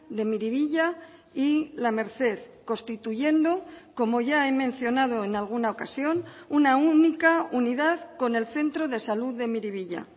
de miribilla y la merced constituyendo como ya he mencionado en alguna ocasión una única unidad con el centro de salud de miribilla